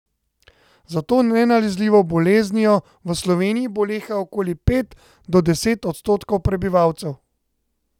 Za to nenalezljivo boleznijo v Sloveniji boleha okoli pet do deset odstotkov prebivalcev.